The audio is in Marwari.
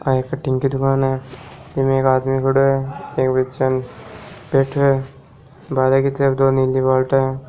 आ एक कटिंग की दुकान है इमें एक आदमी खडो है एक बच्चो बैठो है बाहरे की तरफ दो नीली बाल्टियां है।